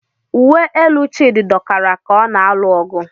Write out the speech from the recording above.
Uwe elu Chidi dọkara ka ọ na-alụ ọgụ.